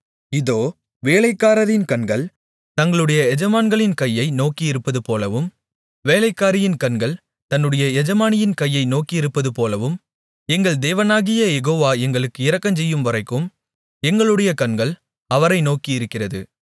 தங்களுடைய எஜமான்களின் கையை நோக்கியிருப்பதுபோலவும் வேலைக்காரியின் கண்கள் தன்னுடைய எஜமானியின் கையை நோக்கியிருப்பதுபோலவும் எங்கள் தேவனாகிய யெகோவா எங்களுக்கு இரக்கஞ்செய்யும்வரைக்கும் எங்களுடைய கண்கள் அவரை நோக்கியிருக்கிறது